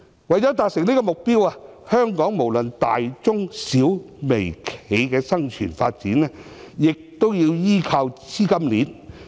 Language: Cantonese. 為了達成這個目標，香港無論大、中、小、微企業的生存發展，都要依靠資金鏈。